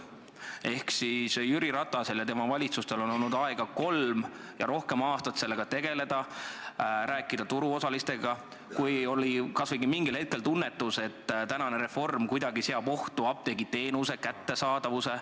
Seega on Jüri Ratasel ja tema valitsustel olnud aega kolm ja rohkem aastat sellega tegeleda, rääkida turuosalistega, kui kas või mingil hetkel tunnetati, et see reform seab kuidagi ohtu apteegiteenuse kättesaadavuse.